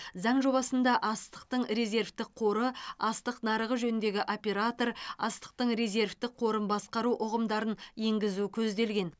заң жобасында астықтың резервтік қоры астық нарығы жөніндегі оператор астықтың резервтік қорын басқару ұғымдарын енгізу көзделген